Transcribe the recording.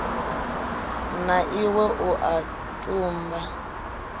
na iwe u a tumba